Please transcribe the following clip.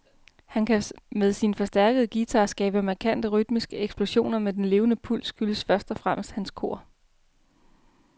Han kan med sin forstærkede guitar skabe markante rytmiske eksplosioner, men den levende puls skyldes først og fremmest hans kor.